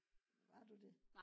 var du det?